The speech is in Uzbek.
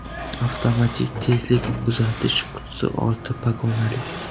Avtomatik tezlik uzatish qutisi olti pog‘onali.